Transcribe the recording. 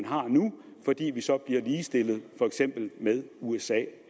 har nu fordi vi så bliver ligestillet for eksempel med usa